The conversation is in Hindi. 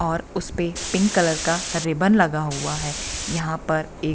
और उसपे पिंक कलर का रिबन लगा हुआ है यहां पर एक --